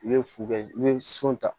I bɛ fu bɛ i bɛ sun ta